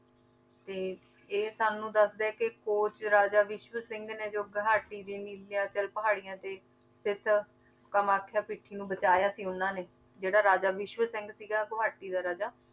ਤੇ ਇਹ ਸਾਨੂੰ ਦੱਸਦਾ ਹੈ ਕਿ ਕੋਚ ਰਾਜਾ ਵਿਸ਼ਵ ਸਿੰਘ ਨੇ ਜੋ ਗੁਹਾਟੀ ਦੇ ਨੀਲਾਚਲ ਪਹਾੜੀਆਂ ਤੇ ਸਥਿੱਤ ਕਮਾਥਿਆ ਪੀਠੀ ਨੂੰ ਬਚਾਇਆ ਸੀ ਉਹਨਾਂ ਨੇ ਜਿਹੜਾ ਰਾਜਾ ਵਿਸ਼ਵ ਸਿੰਘ ਸੀਗਾ ਗੁਹਾਟੀ ਦਾ ਰਾਜਾ,